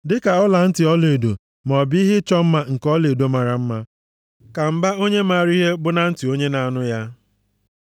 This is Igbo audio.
Dịka ọlantị ọlaedo maọbụ ihe ịchọ mma nke ọlaedo mara mma ka mba onye maara ihe bụ na ntị onye na-anụ ya.